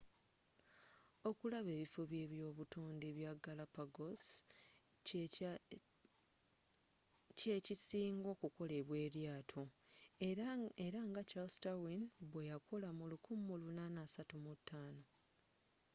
okulaba ebifo n'ebyobutonde bya galapagos ky'ekisinga okukolebwa eryaato era nga charles darwin bweyakola mu 1835